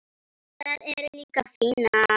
Það er líka fínna þar.